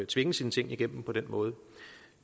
tvinge sine ting igennem på den måde